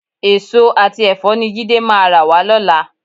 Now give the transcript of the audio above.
Èso àti ẹ̀fọ́ ni Jídé máa rà wá lọ́la.